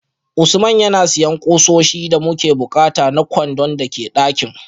Usman yana siyan kusoshi da muke bukata na kwandon da ke dakin